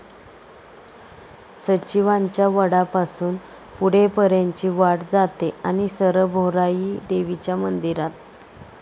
सचिवांच्या वडापासून पुढे पर्यंतची वाट जाते आणि सरळ भोराई देवीच्या मंदिरात.